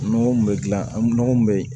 Nɔgɔ min bɛ gilan an nɔgɔ mun bɛ